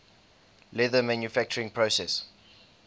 leather manufacturing process